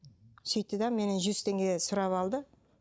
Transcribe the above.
сөйтті де менен жүз теңге сұрап алды